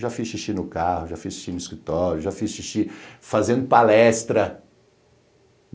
Já fiz xixi no carro, já fiz xixi no escritório, já fiz xixi fazendo palestra.